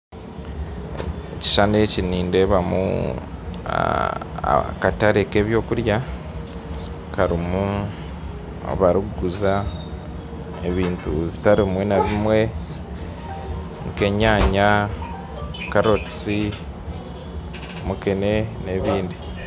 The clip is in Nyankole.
Ekishishani eki nindeebamu akatare k'ebyokurya karimu abarikuguza ebintu bitari bimwe na bimwe nka enyaanya, carrots, mukene na ebindi.